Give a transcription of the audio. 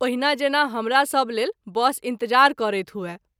ओहिना जेना हमरा सभ लेल बस इंतजार करैत हुए।